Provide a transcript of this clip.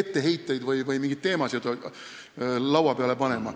etteheiteid või mingeid selliseid teemasid laua peale panema!